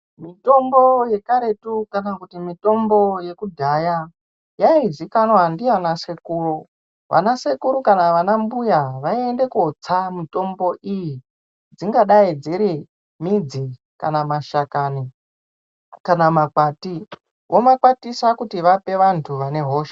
Mitombo yekaretu kana kuti mitombo yekudhaya yaizikanwa ndiana sekuru vana sekuru kana vana mbuya vaiende kotsa mutombo iyi dzingadai dziri midzi kana mashakani kana makwati vomakwatisa kuti vape vanthu vane hosha.